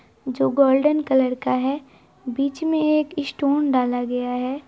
जो golden colour का है बीच में एक स्टोन डाला गया है।